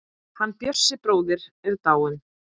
Hann Bjössi bróðir er dáinn.